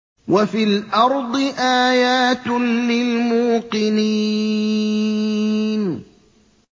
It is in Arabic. وَفِي الْأَرْضِ آيَاتٌ لِّلْمُوقِنِينَ